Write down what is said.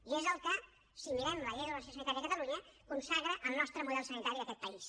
i és el que si mirem la llei de regulació sanitària de catalunya consagra el nostre model sanitari d’aquest país